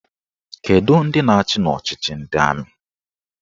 Kedụ ndị na-achị n'ọchịchị ndị amị?